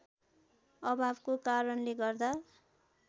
अभावको कारणले गर्दा